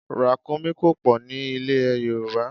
Ràkúnmí kò pọ̀ ní ilè Yorùbá.